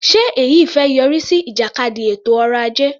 Ṣe èyí fẹ́ yọrí sí ìjàkadì ètò ọrọ ajé?